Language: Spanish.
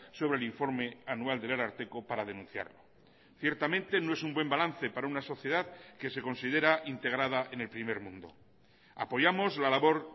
sobre el informe anual del ararteko para denunciarlo ciertamente no es un buen balance para una sociedad que se considera integrada en el primer mundo apoyamos la labor